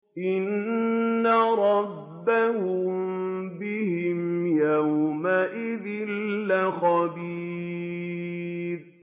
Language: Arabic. إِنَّ رَبَّهُم بِهِمْ يَوْمَئِذٍ لَّخَبِيرٌ